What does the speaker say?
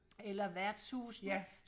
eller værtshusene